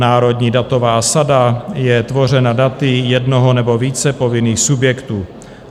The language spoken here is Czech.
Národní datová sada je tvořena daty jednoho nebo více povinných subjektů.